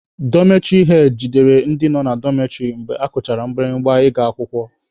Dọmetịrị hed jidere ndị nọ na dọmetịrị mgbe akụchara mgbirimgba ị ga-akwụkwọ.